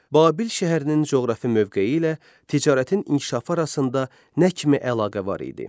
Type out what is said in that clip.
Babil şəhərinin coğrafi mövqeyi ilə ticarətin inkişafı arasında nə kimi əlaqə var idi?